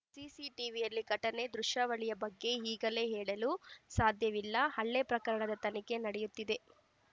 ಸಿಸಿಟಿವಿಯಲ್ಲಿ ಘಟನೆ ದೃಶ್ಯಾವಳಿಯ ಬಗ್ಗೆ ಈಗಲೇ ಹೇಳಲು ಸಾಧ್ಯವಿಲ್ಲ ಹಲ್ಲೆ ಪ್ರಕರಣದ ತನಿಖೆ ನಡೆಯುತ್ತಿದೆ